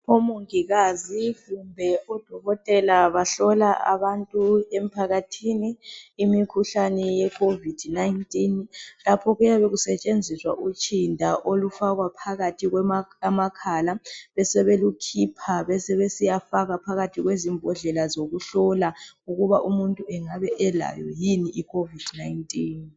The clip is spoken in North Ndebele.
Omongikazi kumbe odokotela bahlola abantu emphakathini imikhuhlane covid 19 lapho kuyabe kusetshenziswa utshinda olufaka phakathi kwamakhala besebelukhipha besebesiya faka phakathi kwezimbodlela zokuhlola ukuba umuntu engabe elayo yini icovid 19.